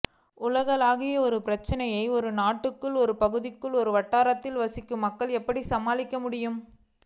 உலகளாவிய ஒரு பிரச்சினையை ஒரு நாட்டுக்குள் ஒரு பகுதிக்குள் ஒரு வட்டாரத்தில் வசிக்கும் மக்கள் எப்படி சமாளிக்கமுடியும்